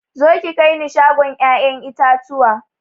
Zo ki kaini shagon ƴaƴan itatuwa